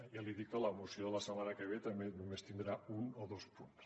ja li dic que la moció de la setmana que ve també només tindrà un o dos punts